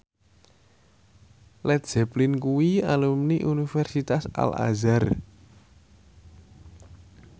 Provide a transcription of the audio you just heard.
Led Zeppelin kuwi alumni Universitas Al Azhar